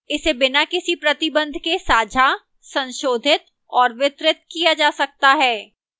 इसे बिना किसी प्रतिबंध के साझा संशोधित और वितरित किया जा सकता है